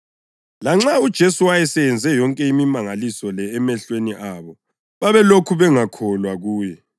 Lanxa uJesu wayeseyenze yonke imimangaliso le emehlweni abo babelokhu bengakholwa kuye.